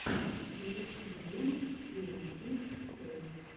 запусти диэм криэйтив скул